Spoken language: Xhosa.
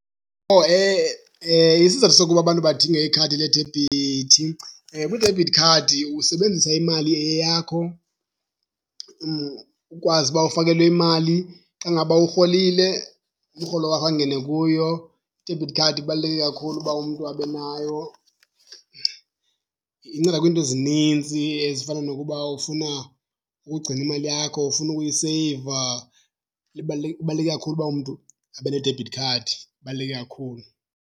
Oh isizathu sokuba abantu badinge ikhadi ledebhithi, kwidebhithi khadi usebenzisa imali eyeyakho, ukwazi uba ufakelwe imali, xa ngaba urholile umrholo wakho angene kuyo. I-debit card ibaluleke kakhulu uba umntu abe nayo. Inceda kwiinto ezinintsi ezifana nokuba ufuna ukugcina imali yakho, ufuna ukuyiseyiva. Ibaluleke kakhulu uba umntu abe ne-debit card, ibaluleke kakhulu.